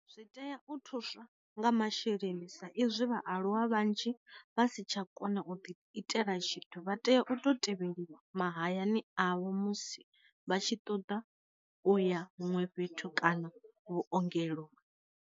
Zwi tea u thuswa nga masheleni sa izwi vhaaluwa vhanzhi vha si tsha kona u ḓi itela tshithu vha tea u to tevheliwa mahayani avho musi vha tshi ṱoḓa uya huṅwe fhethu kana vhuongelo.